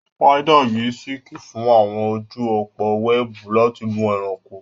Spiders yí siliki fún àwọn ojú òpó wẹ́ẹ̀bù láti mú ẹranko.